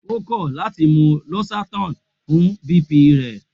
O kọ lati mu losertan fun BP rẹ.